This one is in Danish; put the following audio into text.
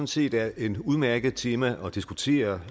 set er et udmærket tema at diskutere